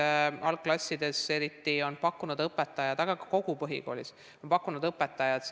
Eriti algklassides on õpetajad, aga ka kogu põhikoolis pakkunud videotunde.